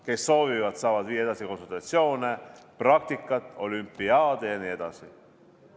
Kes soovivad, saavad edasi teha konsultatsioone, praktikat, olümpiaade jne.